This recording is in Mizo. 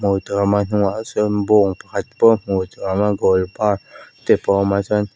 ah sawn bawng pakhat goal bar te pawh a awm a chuan--